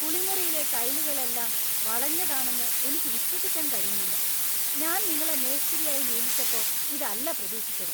കുളിമുറിയിലെ ടൈലുകളെല്ലാം വളഞ്ഞതാണെന്ന് എനിക്ക് വിശ്വസിക്കാൻ കഴിയുന്നില്ല! ഞാൻ നിങ്ങളെ മേസ്തിരിയായി നിയമിച്ചപ്പോ ഇതല്ല പ്രതീക്ഷിച്ചത്.